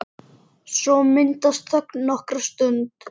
Svo myndast þögn nokkra stund.